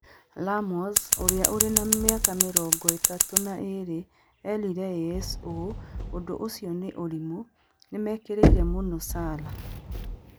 Ramos, ũrĩa ũrĩ na mĩaka mĩrongo ĩtatũ na ĩĩrĩ, eerire AS ũũ: "Ũndũ ũcio nĩ ũrimũ, nĩ nĩ mekĩrĩire mũno Salah.